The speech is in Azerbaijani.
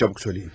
Çabuk söyləyin.